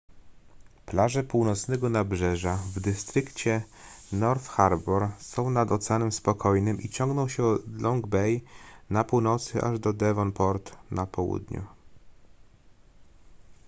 plaże północnego nabrzeża w dystrykcie north harbour są nad oceanem spokojnym i ciągną się od long bay na północy aż do devonport na południu